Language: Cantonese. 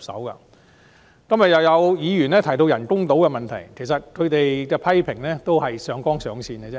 今天再有議員提及人工島的問題，其實他們的批評是上綱上線。